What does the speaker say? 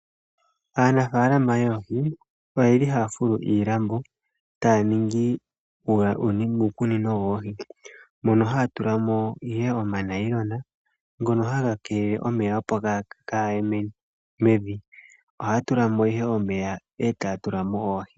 Aanafaalama yoohi oyeli haya fulu iilambo taya ningi uukunino yoohi, mono haya tulamo ihe omathayila ngono haga kelele omeya opo kaagahe mevi, ohaya tulamo ihe omeya e taya tulamo oohi.